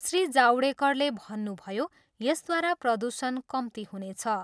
श्री जावडेकरले भन्नुभयो, यसद्वारा प्रदूषण कम्ती हुनेछ।